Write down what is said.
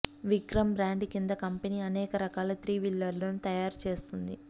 Vikram brand కింద company అనేక రకాల త్రీ వీలర్లను తయారు చేస్తుంది